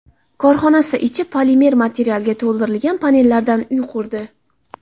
korxonasi ichi polimer materialga to‘ldirilgan panellardan uy qurdi.